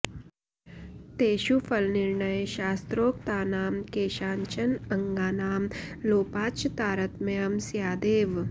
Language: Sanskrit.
तेषु फलनिर्णये शास्त्रोक्तानां केषाञ्चन अङ्गानां लोपाच्च तारतम्यं स्यादेव